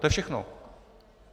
To je všechno.